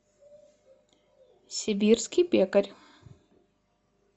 сибирский пекарь